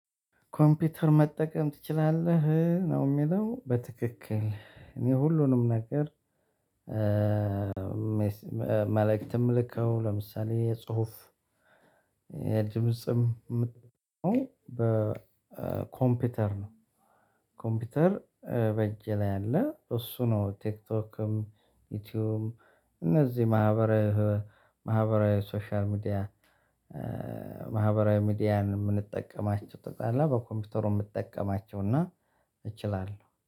ኮምፒውተር መጠቀም ትችላለ? ነው የሚለው በትክክል እኔ ሁሉንም ነገር መልእክትም ልከው ለምሳሌ የጽሁፍ የድምጽም የምትለው በኮምፒውተር ነው ኮምፒውተር በእጄ ላይ አለ እሱ ነው ቲክቶክም ዩቲዩብም እነዚህ ማህበራዊ ሶሻል ሚዲያ ማህበራዊ ሚዲያን የምንጠቀማቸው ጠቅላላ በኮምፒውተሩ የምጠቀማቸው እና እችላለሁ